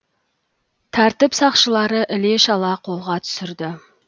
тәртіп сақшылары іле шала қолға түсірді